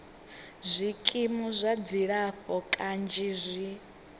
zwikimu zwa dzilafho kanzhi zwi